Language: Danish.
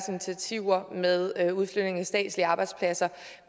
initiativer med udflytningen af statslige arbejdspladser